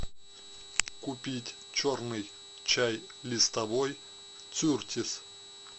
купить черный чай листовой кертис